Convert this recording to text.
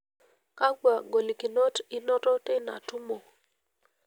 Kakua golikinot inoto teina tumo?